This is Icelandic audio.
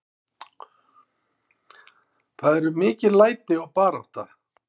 Það eru mikil læti og barátta.